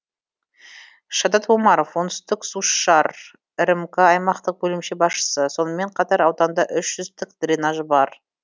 шадат омаров оңтүстіксушар рмк аймақтық бөлімше басшысы сонымен қатар ауданда үш жүз тік дренаж бар